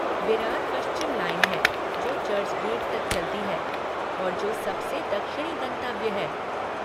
विरार पश्चिम लाइन है जो चर्च गेट तक चलती है और जो सबसे दक्षिणी गंतव्य है।